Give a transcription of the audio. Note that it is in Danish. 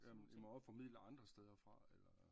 Jamen i må også få midler andre steder fra eller